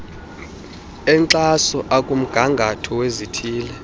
enkxaso akumgangatho wezithili